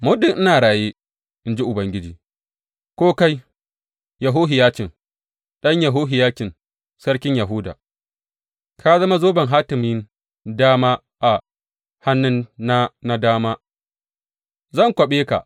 Muddin ina raye, in ji Ubangiji, ko kai, Yehohiyacin ɗan Yehohiyakim sarkin Yahuda, ka zama zoben hatimin dama a hannuna na dama, zan kwaɓe ka.